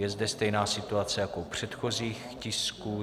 Je zde stejná situace jako u předchozích tisků.